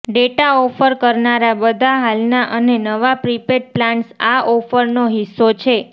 data offer કરનારા બધા હાલના અને નવા પ્રીપેડ પ્લાન્સ આ ઓફરનો હિસ્સો છે